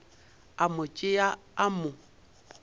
a mo tšea a mo